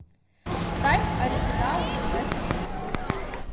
ставь арсенал вест хэм